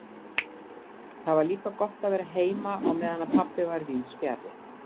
Það var líka gott að vera heima á meðan pabbi var víðs fjarri.